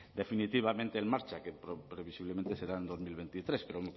definitivamente en marcha que previsiblemente será en dos mil veintitrés pero